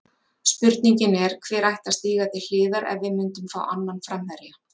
Spurningin er, hver ætti að stíga til hliðar ef við myndum fá annan framherja?